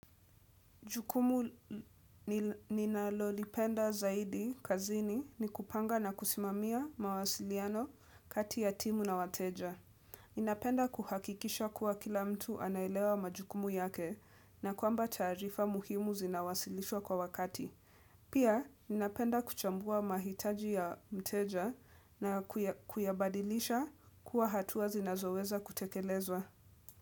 Jukumu ninalolipenda zaidi kazini ni kupanga na kusimamia mawasiliano kati ya timu na wateja. Napenda kuhakikisha kuwa kila mtu anailewa majukumu yake na kwamba taarifa muhimu zinawasilishwa kwa wakati. Pia, ninapenda kuchambua mahitaji ya mteja na kuyabadilisha kuwa hatua zinazoweza kutekelezwa.